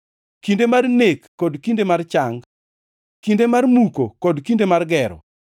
kinde mar nek kod kinde mar chang, kinde mar muko kod kinde mar gero,